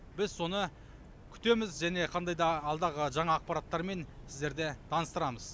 біз соны күтеміз және қандай да алдағы жаңа ақпараттармен сіздерді таныстырамыз